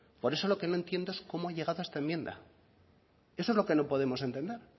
por eso lo que no entiendo es cómo ha llegado a esta enmienda eso es lo que no podemos entender